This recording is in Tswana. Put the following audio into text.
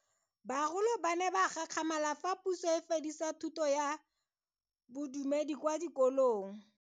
Bagolo ba ne ba gakgamala fa Puso e fedisa thuto ya Bodumedi kwa dikolong.